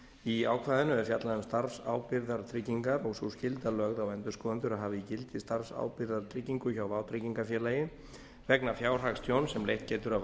í ákvæðinu er fjallað um starfsábyrgðartryggingar og sú skylda lögð á endurskoðendur að hafa í gildi starfsábyrgðartryggingu hjá vátryggingafélagi vegna fjárhagstjóns sem leitt getur af